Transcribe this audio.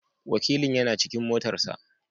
Wakilin yana cikin motar sa.